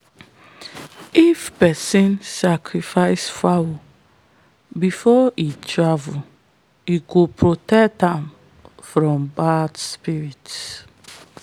if person sacrifice fowl before he travel e go protect am from bad spirit.